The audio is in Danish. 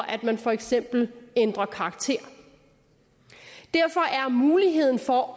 at man for eksempel ændrer karakter derfor er muligheden for